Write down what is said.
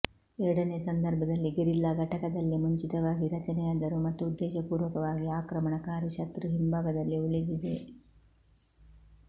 ಎರಡನೇ ಸಂದರ್ಭದಲ್ಲಿ ಗೆರಿಲ್ಲಾ ಘಟಕದಲ್ಲಿ ಮುಂಚಿತವಾಗಿ ರಚನೆಯಾದರೂ ಮತ್ತು ಉದ್ದೇಶಪೂರ್ವಕವಾಗಿ ಆಕ್ರಮಣಕಾರಿ ಶತ್ರು ಹಿಂಭಾಗದಲ್ಲಿ ಉಳಿದಿದೆ